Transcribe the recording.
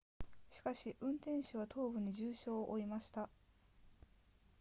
しかし運転手は頭部に重傷を負いました